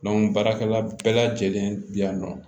baarakɛla bɛɛ lajɛlen bi yan nɔ